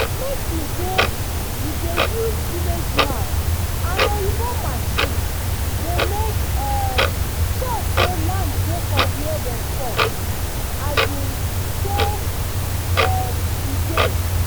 make u dey u dey use village maps and oyibo machines dey make um sure say land dey for where dem talk um say um e dey